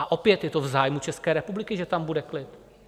A opět je to v zájmu České republiky, že tam bude klid.